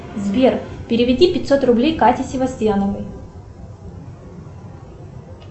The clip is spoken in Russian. сбер переведи пятьсот рублей кате севастьяновой